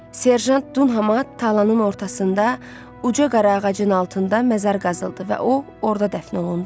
Serjant Dunhama talanın ortasında uca qara ağacın altında məzar qazıldı və o orda dəfn olundu.